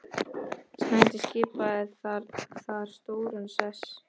Snædís skipaði þar stóran sess.